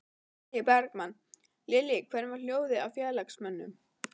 Logi Bergmann: Lillý, hvernig var hljóðið í félagsmönnum?